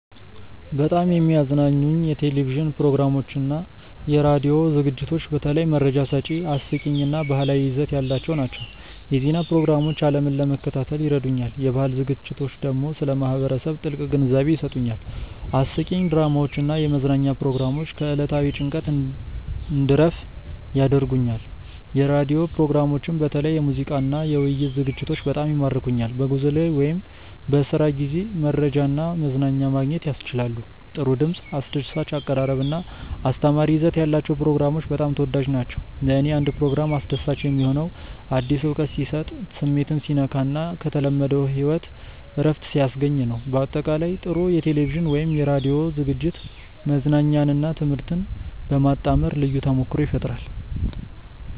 በጣም የሚያዝናኑኝ የቴሌቪዥን ፕሮግራሞችና የራዲዮ ዝግጅቶች በተለይ መረጃ ሰጪ፣ አስቂኝ እና ባህላዊ ይዘት ያላቸው ናቸው። የዜና ፕሮግራሞች ዓለምን ለመከታተል ይረዱኛል፣ የባህል ዝግጅቶች ደግሞ ስለ ማህበረሰብ ጥልቅ ግንዛቤ ይሰጡኛል። አስቂኝ ድራማዎች እና የመዝናኛ ፕሮግራሞች ከዕለታዊ ጭንቀት እንድረፍ ያደርጉኛል። የራዲዮ ፕሮግራሞችም በተለይ የሙዚቃና የውይይት ዝግጅቶች በጣም ይማርኩኛል። በጉዞ ላይ ወይም በስራ ጊዜ መረጃና መዝናኛ ማግኘት ያስችላሉ። ጥሩ ድምፅ፣ አስደሳች አቀራረብ እና አስተማሪ ይዘት ያላቸው ፕሮግራሞች በጣም ተወዳጅ ናቸው። ለእኔ አንድ ፕሮግራም አስደሳች የሚሆነው አዲስ እውቀት ሲሰጥ፣ ስሜትን ሲነካ እና ከተለመደው ሕይወት እረፍት ሲያስገኝ ነው። በአጠቃላይ፣ ጥሩ የቴሌቪዥን ወይም የራዲዮ ዝግጅት መዝናኛንና ትምህርትን በማጣመር ልዩ ተሞክሮ ይፈጥራል